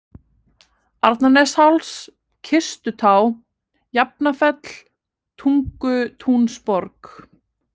Arnarnesháls, Kistutá, Jafnafell, Tungutúnsborg